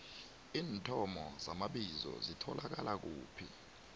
iinthomo zamabizo zitholakala kuphi